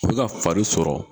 U be ka fari sɔrɔ